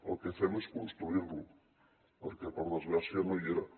el que fem és construir lo perquè per desgràcia no hi era